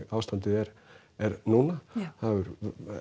ástandið er er núna það hefur